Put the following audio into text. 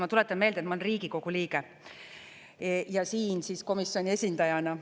Ma tuletan meelde, et ma olen Riigikogu liige ja siin komisjoni esindajana.